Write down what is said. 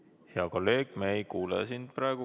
Hea kolleeg, me ei kuule sind praegu.